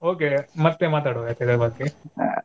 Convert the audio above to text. Okay ಮತ್ತೆ ಮಾತಾಡುವ ಆಯ್ತಾ ಇದರ ಬಗ್ಗೆ.